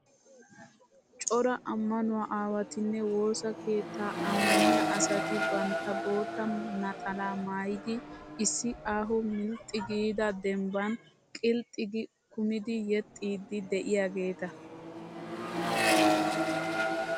Cora ammanuwaa aawatinne wosaa keettan ammaniyaa asati bantta bootta naxalaa maayyidi issi aaho milxxi giida dembban qilxxi gi kumidi yexxiiddi diyaageeta.